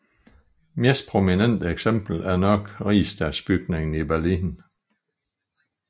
Mest prominente eksempel er nok Rigsdagsbygningen i Berlin